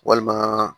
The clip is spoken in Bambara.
Walima